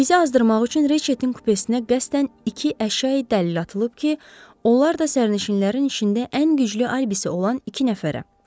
İzi azdırmaq üçün Reçetin kupesinə qəsdən iki əşyayi dəlil atılıb ki, onlar da sərnişinlərin içində ən güclü alibisi olan iki nəfərə.